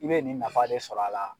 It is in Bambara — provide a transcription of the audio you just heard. I bɛ nin nafa de sɔrɔ a la.